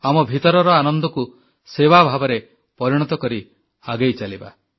ଆମ ଭିତରର ଆନନ୍ଦକୁ ସେବା ଭାବରେ ପରିଣତ କରି ଆଗେଇ ଚାଲିବା